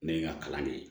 Ne ye n ka kalan de ye